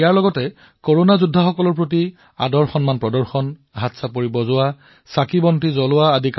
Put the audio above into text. সেইদৰে আমাৰ কৰোনা যোদ্ধাসকলৰ প্ৰতি সন্মান আদৰ থালী বজোৱা হাত তালি দিয়া চাকি জ্বলোৱা